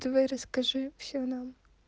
давай расскажи всё нам